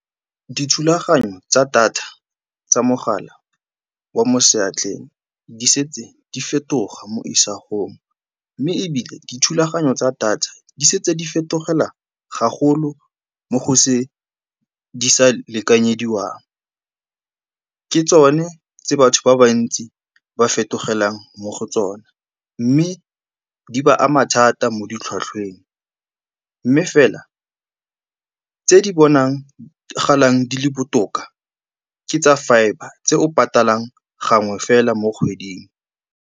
Dithulaganyo tsa data tsa mogala wa mo seatleng di setse di fetoga mo isagong, mme ebile dithulaganyo tsa data di setse di fetogela ga golo mo go se di sa lekanyediwang. Ke tsone tse batho ba bantsi ba fetogelang mo go tsone mme di ba ama thata mo di tlhwatlhweng. Mme fela, tse di bonagalang di le botoka ke tsa fibre tse o patalang gangwe fela mo kgweding.